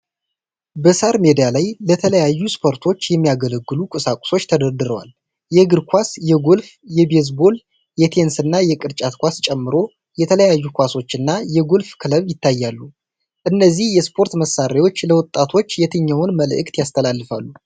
በሣር ሜዳ ላይ ለተለያዩ ስፖርቶች የሚያገለግሉ ቁሳቁሶች ተደርድረዋል። የእግር ኳስ፣ የጎልፍ፣ የቤዝቦል፣ የቴኒስ እና የቅርጫት ኳስ ጨምሮ የተለያዩ ኳሶች እና የጎልፍ ክለብ ይታያሉ። እነዚህ የስፖርት መሣሪያዎች ለወጣቶች የትኛውን መልዕክት ያስተላልፋሉ?